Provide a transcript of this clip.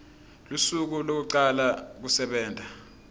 lusuku lwekucala kusebenta